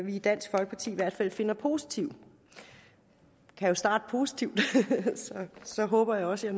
i dansk folkeparti i hvert fald finder positive vi kan jo starte positivt så håber jeg også at